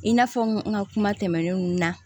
I n'a fɔ n ka kuma tɛmɛnenw na